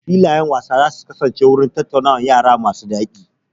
Filayen wasa za su kasance wurin tattaunawar yara masu daɗi.